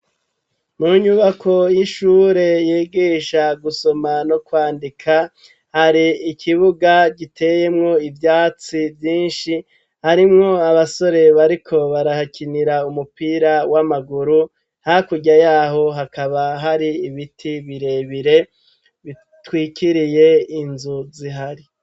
Mu nyubako y'ishure yigisha gusoma no kwandika hari ikibuga giteyemwo ivyatsi vyinshi harimwo abasore bariko barahakinira umupira w'amaguru hakurya yaho hakaba hari ibiti birebire bitwikiriye inzu zihari.